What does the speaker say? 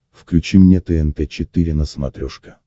включи мне тнт четыре на смотрешке